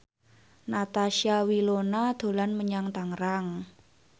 Natasha Wilona dolan menyang Tangerang